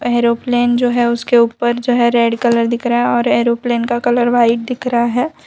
Airplane जो है उसके ऊपर जो है रेड कलर दिख रहा है और एरोप्लेन का कलर व्हाइट दिख रहा है।